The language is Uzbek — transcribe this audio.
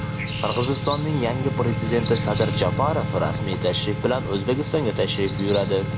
Qirg‘izistonning yangi prezidenti Sadir Japarov rasmiy tashrif bilan O‘zbekistonga tashrif buyuradi.